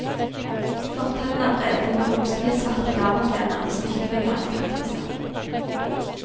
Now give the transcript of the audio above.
Fortauene er brede med romslige, svarte lavaplener og stikkende grønne kaktuser.